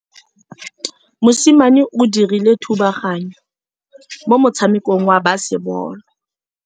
Mosimane o dirile thubaganyô mo motshamekong wa basebôlô.